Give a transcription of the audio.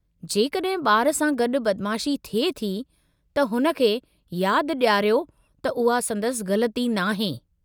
जेकॾहिं ॿार सां गडु॒ बदमाशी थिए थी त हुन खे यादि ॾियारियो त उहा संदसि ग़लिती नाहे।